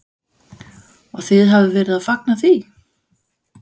Og þið hafið verið að fagna því?